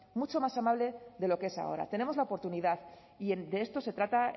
mucho más amable de lo que es ahora tenemos la oportunidad y de esto se trata